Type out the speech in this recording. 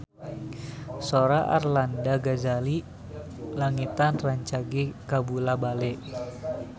Sora Arlanda Ghazali Langitan rancage kabula-bale